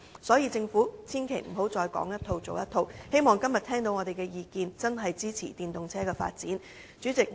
所以，政府千萬不要再說一套，做一套，希望今天聽到我們的意見後，會真正支持電動車發展。